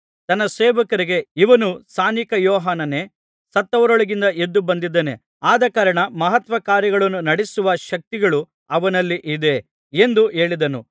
ತನ್ನ ಸೇವಕರಿಗೆ ಇವನು ಸ್ನಾನಿಕ ಯೋಹಾನನೇ ಸತ್ತವರೊಳಗಿಂದ ಎದ್ದು ಬಂದಿದ್ದಾನೆ ಆದಕಾರಣ ಮಹತ್ಕಾರ್ಯಗಳನ್ನು ನಡಿಸುವ ಶಕ್ತಿಗಳು ಅವನಲ್ಲಿ ಇದೆ ಎಂದು ಹೇಳಿದನು